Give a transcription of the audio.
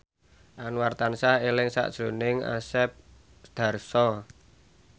Anwar tansah eling sakjroning Asep Darso